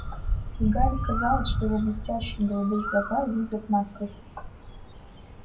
и гарри казалось что его блестящие голубые глаза видят насквозь